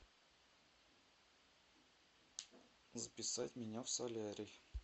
записать меня в солярий